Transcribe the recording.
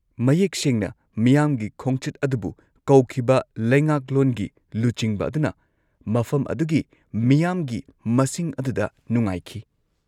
-ꯃꯌꯦꯛ ꯁꯦꯡꯅ, ꯃꯤꯌꯥꯝꯒꯤ ꯈꯣꯡꯆꯠ ꯑꯗꯨꯕꯨ ꯀꯧꯈꯤꯕ ꯂꯩꯉꯥꯛꯂꯣꯟꯒꯤ ꯂꯨꯆꯤꯡꯕ ꯑꯗꯨꯅ ꯃꯐꯝ ꯑꯗꯨꯒꯤ ꯃꯤꯌꯥꯝꯒꯤ ꯃꯁꯤꯡ ꯑꯗꯨꯗ ꯅꯨꯡꯉꯥꯏꯈꯤ꯫